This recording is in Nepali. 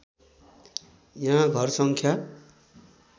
यहाँ घरसङ्ख्या